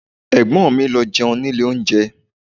Ẹ̀gbọ́n mi lọ jẹun ní ilé oúnjẹ